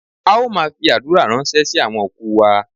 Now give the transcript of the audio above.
A ó maa fi adura ransẹ si awọn oku wa